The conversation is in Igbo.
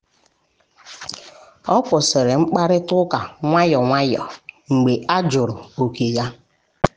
o kwụsịrị mkparịta ụka nwayọọ nwayọọ mgbe a jụrụ oke ya.